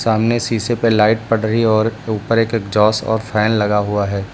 सामने शीशे पे लाइट पड़ रही है और ऊपर एक एग्जॉस्ट और फैन लगा हुआ है।